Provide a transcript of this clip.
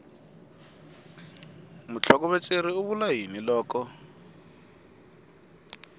mutlhokovetseri u vula yini loko